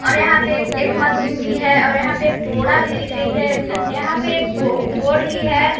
और यहां पे ए एक मशीन भी है और यहां पे एक बोड़ा भी दिख रही है और यहां पे एक बो बोर्ड भी है।